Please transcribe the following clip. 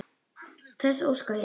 Þess óska ég.